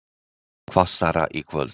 Hvassara í kvöld